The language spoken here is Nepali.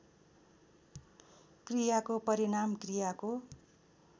क्रियाको परिणाम क्रियाको